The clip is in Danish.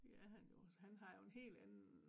Det er han jo så han har jo en helt anden